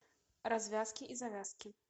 развязки и завязки